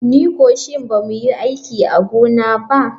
Ni ko shi ba mu yi aiki a gona ba.